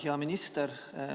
Hea minister!